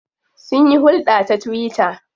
Sunyi hulɗa ta twitter.